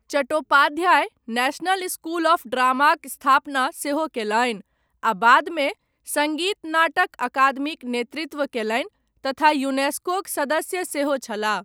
Chattopadhyay national school of ड्रामाक स्थापना सेहो कयलनि, आ बादमे, सङ्गीत नाटक अकादमीक नेतृत्व कयलनि, तथा यूनेस्कोक सदस्य सेहो छलाह।